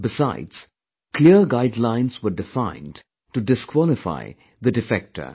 Besides, clear guidelines were defined to disqualify the defector